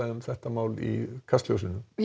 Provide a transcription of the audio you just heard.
um þetta mál í Kastljósi í